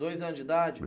Dois anos de idade?